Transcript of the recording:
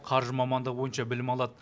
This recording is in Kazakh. қаржы мамандығы бойынша білім алады